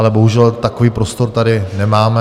Ale bohužel takový prostor tady nemáme.